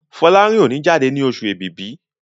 Folarin o ní jáde ní Oṣù Ẹ̀bìbì